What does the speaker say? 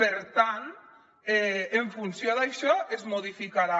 per tant en funció d’això es modificarà